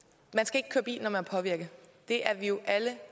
at man er påvirket det er vi jo alle